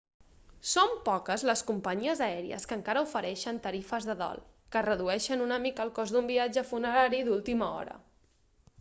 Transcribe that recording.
són poques les companyies aèries que encara ofereixen tarifes de dol que redueixen una mica el cost d'un viatge funerari d'última hora